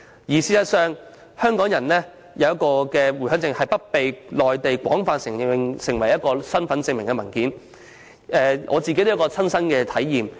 事實上，現時港人持有的回鄉證未被內地廣泛承認為身份證明文件，在這方面，我也有切身的體驗。